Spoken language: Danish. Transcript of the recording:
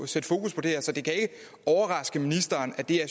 sætte fokus på det her så det kan ikke overraske ministeren at det er